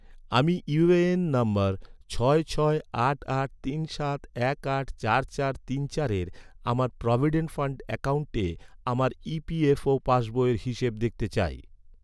আমি UAN number ছয় ছয় আট আট তিন সাত এক আট চার চার তিন চারের, আমার প্রভিডেন্ট ফান্ড অ্যাকাউন্টে, আমার ই.পি.এফ.ও পাসবইয়ের হিসেব দেখতে চাই